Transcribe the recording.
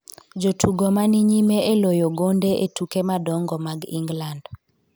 jotugo ma ni nyime e loyo gonde e tuke madongo mag Ingland